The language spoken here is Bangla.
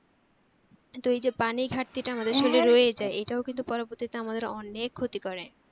কিন্তু ঐযে পানি ঘার্তি টা আমাদের শরীরে রয়েই যাই এটাও কিন্তু পবর্তীতে অনেক ক্ষতি করে